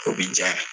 O bi janya